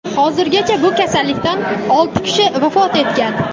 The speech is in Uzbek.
hozirgacha bu kasallikdan olti kishi vafot etgan.